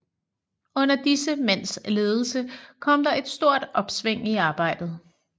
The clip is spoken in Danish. Under disse mænds ledelse kom der et stort opsving i arbejdet